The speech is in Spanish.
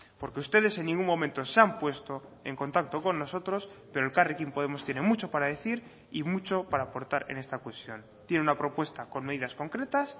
porque ustedes en ningún momento se han puesto en contacto con nosotros pero elkarrekin podemos tiene mucho para decir y mucho para aportar en esta cuestión tiene una propuesta con medidas concretas